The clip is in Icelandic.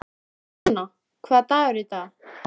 Ramóna, hvaða dagur er í dag?